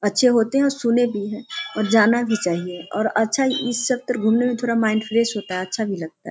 अच्छे होते हैं और सुनें भी हैं और जाना भी चाहिए और अच्छा इस तरह घूमने में माइन्ड फ्रेश होता है अच्छा भी लगता है।